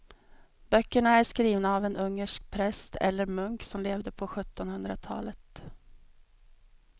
Böckerna är skrivna av en ungersk präst eller munk som levde på sjuttonhundratalet.